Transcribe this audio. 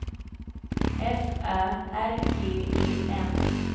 F Ä R G E N